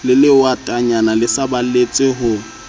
le lehwatatanyana le saballetse ho